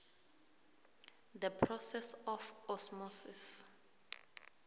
the process of osmosis